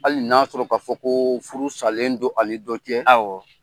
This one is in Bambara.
Hali n'a sɔrɔ k'a fɔ ko furu salen don ani dɔ cɛ